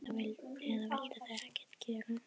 Eða vildu þau ekkert gera?